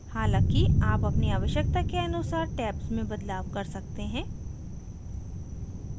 हालाँकि आप अपनी आवश्यकता के अनुसार tabs में बदलाव कर सकते हैं